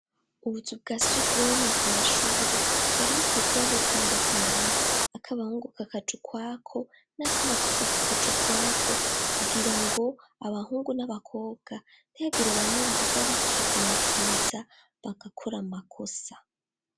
Ubuzu bwasugumwe ku mashuri bwari bukwiye kuba butandukanye ak'abahungu kakaja ukwako n'akabakobwa kakaja ukwako kugira ngo abahungu n'abakobwa ntihagira bamwe bahava bikika mu kiza bagakora amakosa.